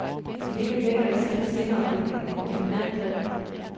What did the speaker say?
Det hele ligger i selve sceneopbygningen, et eminent greb.